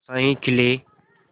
आशाएं खिले